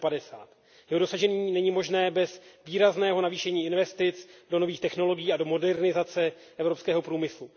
2050. Jeho dosažení není možné bez výrazného navýšení investic do nových technologií a do modernizace evropského průmyslu.